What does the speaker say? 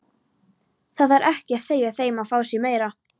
Það þarf ekki að segja þeim að fá sér meira.